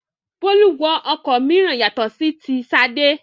Bólú wọ ọkọ̀ mìíràn yàtọ̀ sí ti Ṣadé.